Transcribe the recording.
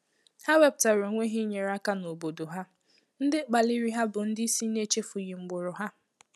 Ha wepụtara onwe hà inyere áká n’obodo ha, ndị kpaliri ha bụ ndị isi$ na echefu-ghi mgbụrụ ha